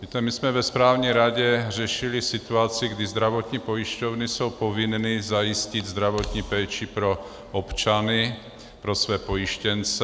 Víte, my jsme ve správní radě řešili situaci, kdy zdravotní pojišťovny jsou povinny zajistit zdravotní péči pro občany, pro své pojištěnce.